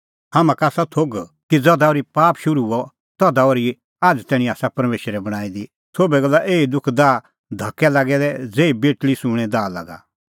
हाम्हां का आसा थोघ कि ज़धा ओर्ही पाप शुरू हुअ तधा ओर्ही आझ़ तैणीं आसा परमेशरै बणांईं दी सोभै गल्ला आसा एही दुख दाह दी धकदै लागै दै ज़ेही बेटल़ी सूंणें दाह लागा